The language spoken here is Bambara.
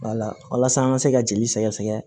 walasa an ka se ka jeli sɛgɛ sɛgɛ